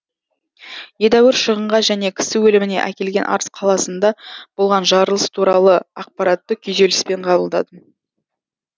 едәуір шығынға және кісі өліміне әкелген арыс қаласында болған жарылыс туралы ақпаратты күйзеліспен қабылдадым